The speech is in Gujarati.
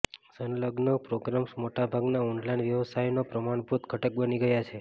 સંલગ્ન પ્રોગ્રામ્સ મોટા ભાગના ઓનલાઇન વ્યવસાયોના પ્રમાણભૂત ઘટક બની ગયા છે